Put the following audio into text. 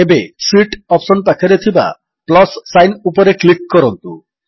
ଏବେ sheet option ପାଖରେ ଥିବା ପ୍ଲସ୍ ସାଇନ୍ ଉପରେ କ୍ଲିକ୍ କରନ୍ତୁ